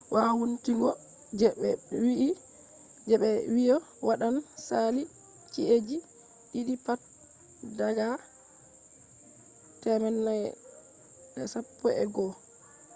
wowuntingo je be wi'i je ɓe wi'i waɗan sali ci'eji ɗiɗi pat daga 2011